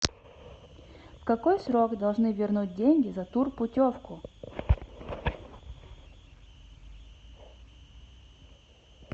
в какой срок должны вернуть деньги за турпутевку